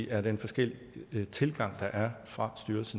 er den forskellige tilgang der er fra slots